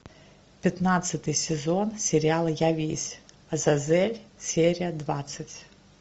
пятнадцатый сезон сериала я весь азазель серия двадцать